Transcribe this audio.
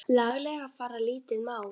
laglega fara lítið má.